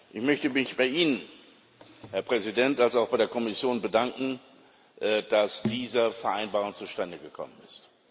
Ich möchte mich bei Ihnen, Herr Präsident, und auch bei der Kommission bedanken, dass diese Vereinbarung zustande gekommen ist.